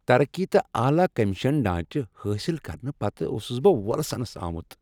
ترقی تہٕ اعلی کمیشن ڈھانچہٕ حٲصل کرنہٕ پتہٕ اوسس بہٕ وۄلسنس آمت۔